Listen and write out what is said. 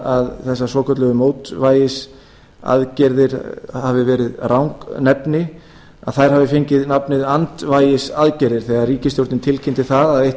að þessar svokölluðu mótvægisaðgerðir hafi verið rangnefni að þær hafi fengið nafnið andvægisaðgerðum þegar ríkisstjórnin tilkynnti að eitt